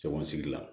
Cɔgɔn sigi la